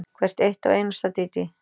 Hvert eitt og einasta, Dídí.